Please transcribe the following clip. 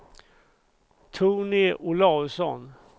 Tony Olausson